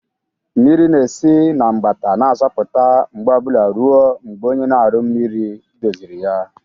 Mmiri na-esi na mgbata na-asọpụta mgbe obula ruo mgbe onye na-aru mmiri doziri ya.